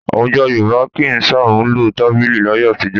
Àwùjọ Yorùbá kì í ṣàmúlò tábìlì láyé àtijọ́